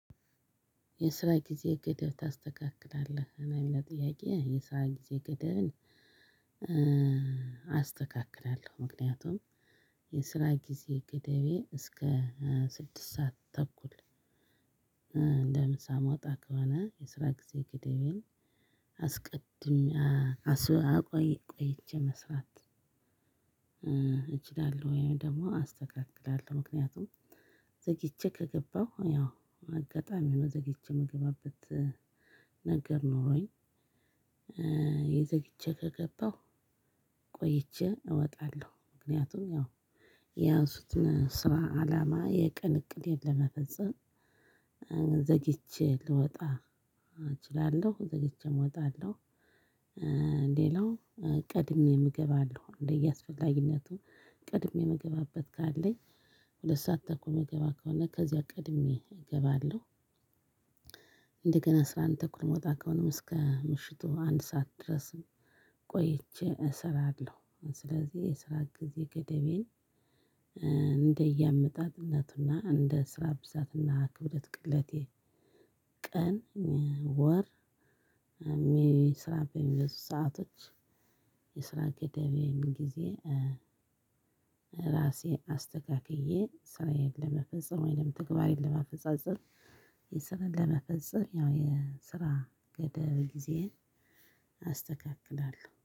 የስራ ጊዜ ገደብ ታስተካክላለህ ለሚለው ጥያቄ የስራ ጊዜ ገደብን። አስተካክላለሁ ምክንያቱም የስራ ጊዜ ገደቤ እስከ ስድስት ሰዓት ተኩል እንደምሳ እምወጣ ከሆነ የስራ ጊዜ ግደቤን አስቀድም አቆይ ቆይቼ መስራት። እችላለሁ ወይም ደግሞ አስተካክላለሁ ምክንያቱም ዘግይቼ ከገባሁ ያው አጋጣሚ ሁኖ ዘግይቼ የምገባበት ነገር ኖሮኝ። ዘግይቼ ከገባሁ ቆይቼ እወጣለሁ። ምክንያቱም ያው የያዙት ስራ አላማ የቀን እቅዴን ለመፈጸም ዘግቼ ልወጣ እችላለሁ ዘግቼም እወጣለሁ። ሌላው ቀድሜም አገባለሁ እንደየአስፈላጊነቱ ቀድሜ እምገባበት ካለኝ ሁለት ሰዓት ተኩል እምገባ ከሆነ ከዚያ ቀድሜ እገባለሁ። እንደገና አስራአንድ ተኩል እምወጣ ከሆነም እስከ ምሽቱ አንድ ሰዓት ድረስ ቆይቼ እሰራለሁ። ስለዚህ የስራ ጊዜ ገደቤን እንደ እያመጣጥነትና እንደ ስራ ብዛትና ክብደት ቅለቴ ቀን ወር ስራ በሚበዙ ሰአቶች የስራ ገደቤም ጊዜ። ራሴ አስተካክዬ ስራዬን ለመፈጸም ወይም ተግባሬን ለማፈጻጸም የስራን ለመፈጸም ያው የስራ ገደብ ጊዜዬን አስተካክላለሁ